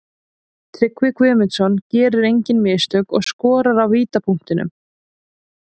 Tryggvi Guðmundsson gerir engin mistök og skorar af vítapunktinum.